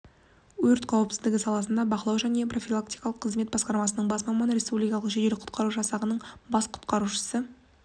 өрт қауіпсіздігі саласындағы бақылау және профилактикалық қызмет басқармасының бас маманы республикалық жедел құтқару жасағының бас құтқарушысы